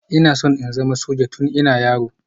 Ina so in zama soja tun ina yaro